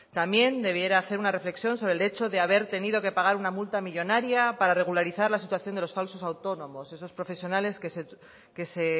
también debiera hacer una reflexión sobre el hecho de haber tenido que pagar una multa millónaria para regularizar la situación de los falsos autónomos esos profesionales que se